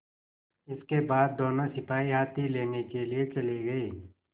इसके बाद दोनों सिपाही हाथी लेने के लिए चले गए